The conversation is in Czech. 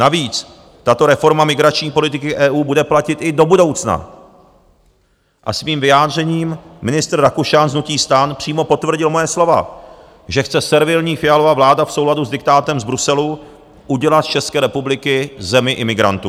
Navíc tato reforma migrační politiky EU bude platit i do budoucna a svým vyjádřením ministr Rakušan z hnutí STAN přímo potvrdil moje slova, že chce servilní Fialova vláda v souladu s diktátem z Bruselu udělat z České republiky zemi imigrantů.